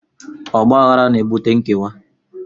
Ọgbaghara na-ebute nkewa